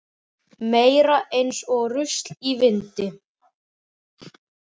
Meira eins og rusl í vindi.